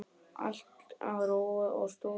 Allt á rúi og stúi.